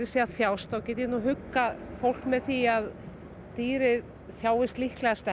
sé að þjást þá get ég huggað fólk með því að dýrið þjáist líklegast